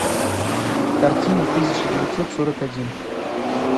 картина тысяча девятьсот сорок один